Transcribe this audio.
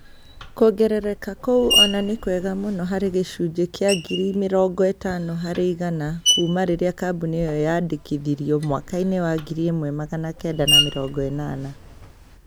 kuongereka kũu ona ni kwega muno hari gĩcunjĩ kia ngiri mĩrongo ĩtano hari igana kuma rĩrĩa kambuni ĩyo yandĩkithirio mwaka-inĩ wa ngiri imwe magana kenda ma mĩrongo ĩnana